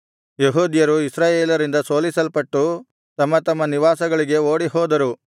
ಯೆಹೂದ್ಯರು ಇಸ್ರಾಯೇಲರಿಂದ ಸೋಲಿಸಲ್ಪಟ್ಟು ತಮ್ಮ ತಮ್ಮ ನಿವಾಸಗಳಿಗೆ ಓಡಿಹೋದರು